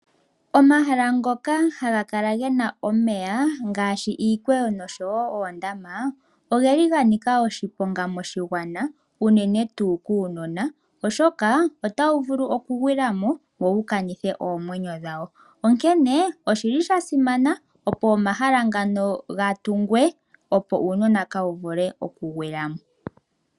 Omahala ngoka haga kala gena omeya ngaashi iikweyo noshowo oondama oga nika oshiponga moshigwana unene tuu kuunona oshoka otawu vulu okugwila mo wo wukanithe oomwenyo dhawo. Onkene osha simana opo omahala ngano gatungwe opo uunona kaawuvule okugwila mo.